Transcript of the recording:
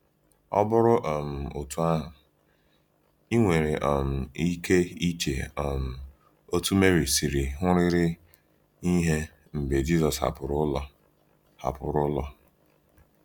Ọ bụrụ um otú ahụ, i nwere um ike iche um otú Meri siri hụrịrị ihe mgbe Jisọs hapụrụ ụlọ. hapụrụ ụlọ.